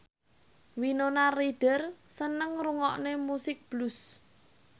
Winona Ryder seneng ngrungokne musik blues